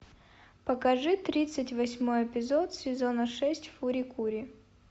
покажи тридцать восьмой эпизод сезона шесть фури кури